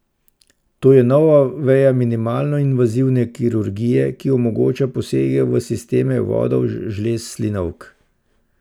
To je nova veja minimalno invazivne kirurgije, ki omogoča posege v sisteme vodov žlez slinavk.